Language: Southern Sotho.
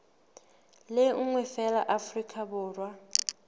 le nngwe feela afrika borwa